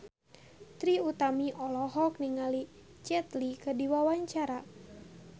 Trie Utami olohok ningali Jet Li keur diwawancara